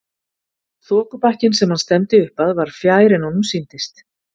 Þokubakkinn sem hann stefndi upp að var fjær en honum sýndist.